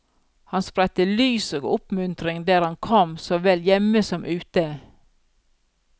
Han spredte lys og oppmuntring der han kom, så vel hjemme som ute.